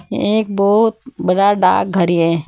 ये एक बहुत बड़ा डाकघर है।